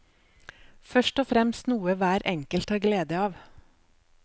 Først og fremst noe hver enkelt har glede av.